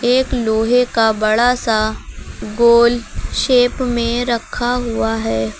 एक लोहे का बड़ा सा गोल शेप में रखा हुआ है।